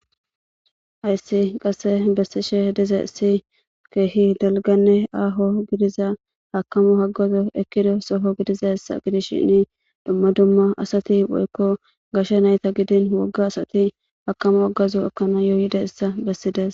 Hayssi qasse bessishe diza essi keehi dalganne aaho gidiza hakamu haggazo ekkido soho gidiza hessa gidishshini dumma dumma asati woykko gashe nayta gidin wogga asati hakamu haggazu ekkana yoyida essa bessides.